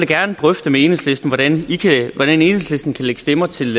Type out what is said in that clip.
gerne drøfte med enhedslisten hvordan enhedslisten kan lægge stemmer til